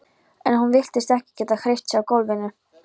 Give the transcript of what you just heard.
En hún virtist ekki geta hreyft sig á gólfinu.